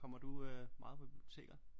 Kommer du øh meget på biblioteker?